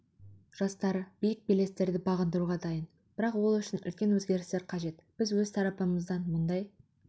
жастары биік белестерді бағындыруға дайын бірақ ол үшін үлкен өзгерістер қажет біз өз тарапымыздан мұндай